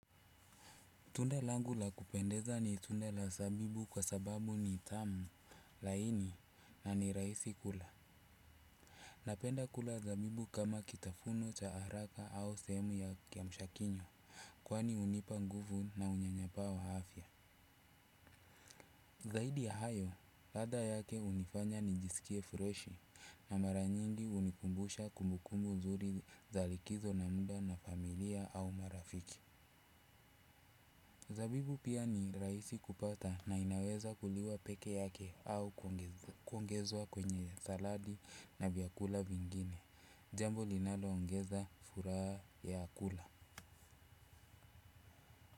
Tunda langu la kupendeza ni tunde la zabibu kwa sababu ni tamu laini na ni rahisi kula. Napenda kula zabibu kama kitafuno cha haraka au sehemu ya kiamsha kinywa kwani hunipa nguvu na unyanyapaa wa afya. Zahidi ya hayo, ladha yake hunifanya nijisikie fresh na mara nyingi hunikumbusha kumbukumbu nzuri zal ikizo na muda na familia au marafiki. Zabibu pia ni rahisi kupata na inaweza kuliwa pekeake, kuongezwa kwenye salad na vyakula vingine. Jambo linaloongeza furaha ya kula.